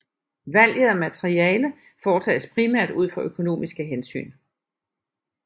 Valget af materiale foretages primært ud fra økonomiske hensyn